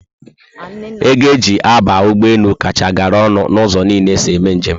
Ego eji aba ụgbọelu kacha gara ọnụ na ụzọ niile esi eme njem